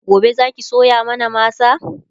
gobe Zaki soya mana masa?